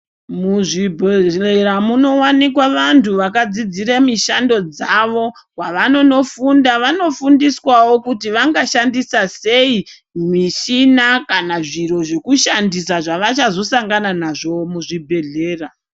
Muzvibhedhleya munowanikwa vantu vakadzidzire mishando dzavo. Kwavanonofunda vanofundiswawo kuti vangashandisa sei mishina kana zviro zvekushandisa zvavachazosangana nazvo muzvibhedhlera.